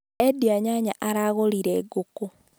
Endia nyanya aragũrire ngũkũ